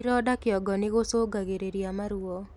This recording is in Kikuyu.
Ironda kĩongo nĩgũcũngagĩrĩrĩa maruo